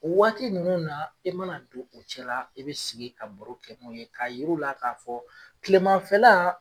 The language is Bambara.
O Waati nunnu e mana don u cɛla la i be sigi ka baro kɛ n'u ye k'a yir'u la k'a fɔ kilemanfɛla